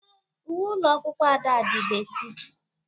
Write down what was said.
Uwe ụlọ akwụkwọ Ada dị dééti.